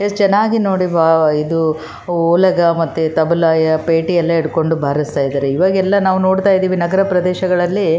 ಹಳ್ಳಿನಲ್ಲಿಎಲ್ಲ ಈವಾಗ್ ನೋಡ್ತಿವಿ ನಾವು ಜಾತ್ರೆ ಹಬ್ಬ ಹರಿದಿನ ಏನೋ ಒಂದು ಚಿಕ್ಕ ಪುಟ್ಟ ಕಾರ್ಯಕ್ರಮಗಳು ಗ್ರಾಮ ದೇವತೆ ಆಗಿರ್ಬಹುದು --